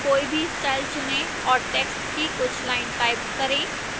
कोई भी style चुनें और text की कुछ lines type करें